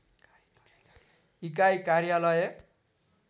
इकाइ कार्यालय